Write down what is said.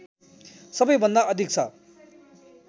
सबैभन्दा अधिक छ